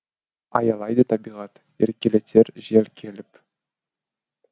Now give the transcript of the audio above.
аялайды табиғат еркелетер жел келіп